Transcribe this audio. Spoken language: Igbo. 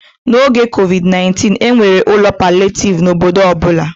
N'oge COVID-19, e nwere ụlọ palịetivu n'obodo ọ bụla.